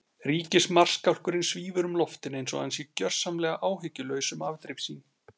Ríkismarskálkurinn svífur um loftin einsog hann sé gjörsamlega áhyggjulaus um afdrif sín.